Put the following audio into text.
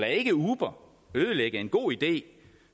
ikke uber ødelægge en god idé